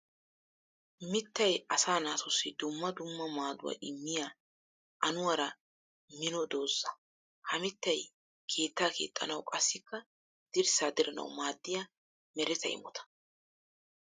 Mittay asaa naatussi dumma dumma maaduwa immiya anuwara minno dooza. Ha mittay keetta keexxanawu qassikka dirssa dirannawu maadiya meretta imotta.